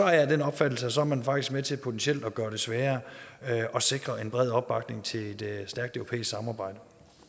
jeg af den opfattelse at så er man faktisk med til potentielt at gøre det sværere at sikre en bred opbakning til et stærkt europæisk samarbejde